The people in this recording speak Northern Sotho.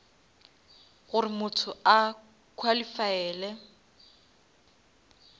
gore motho a qualifaele